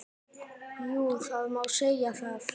Jú, það má segja það.